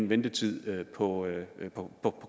ventetiden på at få